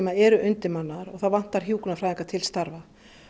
eru undirmannaðar og það vantar hjúkrunarfræðinga til starfa